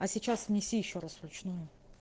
а сейчас внеси ещё раз вручную